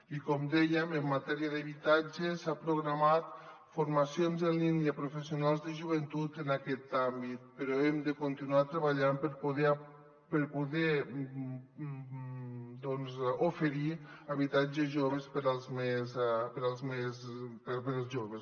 i com dèiem en matèria d’habitatge s’han programat formacions en línia a pro·fessionals de joventut en aquest àmbit però hem de continuar treballant per poder oferir habitatges per als més joves